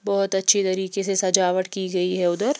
बहोत अच्छी तरीके से सजावट की गई है उधर --